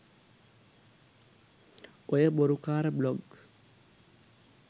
ඔය බොරු කාර බ්ලොග්